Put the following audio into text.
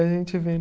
A gente vendo.